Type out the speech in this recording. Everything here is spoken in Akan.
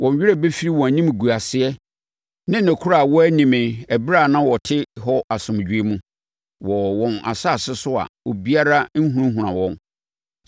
Wɔn werɛ bɛfiri wɔn animguaseɛ ne nokorɛ a wɔanni me ɛberɛ a na wɔte hɔ asomdwoeɛ mu wɔ wɔn asase so a obiara nhunahuna wɔn.